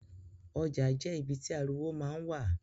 Oja je ibi ti ariwo ma n wa.